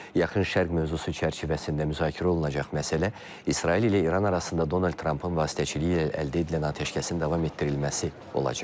Yaxın Şərq mövzusu çərçivəsində müzakirə olunacaq məsələ İsrail ilə İran arasında Donald Trampın vasitəçiliyi ilə əldə edilən atəşkəsin davam etdirilməsi olacaq.